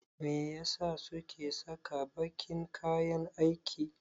Me ya sa suke saka baƙin kayan aiki?